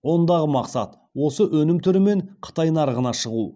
ондағы мақсат осы өнім түрімен қытай нарығына шығу